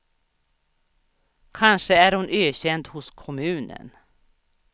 Kanske är hon ökänd hos kommunen.